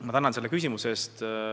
Ma tänan selle küsimuse eest!